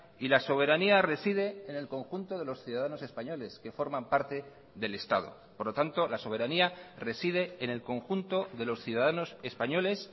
y la soberanía reside en el conjunto de los ciudadanos españoles que forman parte del estado por lo tanto la soberanía reside en el conjunto de los ciudadanos españoles